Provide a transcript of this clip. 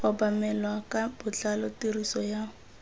obamelwa ka botlalo tiriso ya